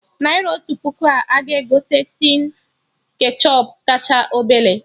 Naira otu puku a ga-egote tin ketchọp kacha obele?